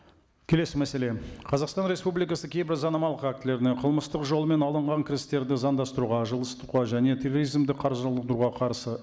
келесі мәселе қазақстан республикасы кейбір заңнамалық актілеріне қылмыстық жолмен алынған кірістерді заңдастыруға жылыстатуға және терроризмді қаржыландыруға қарсы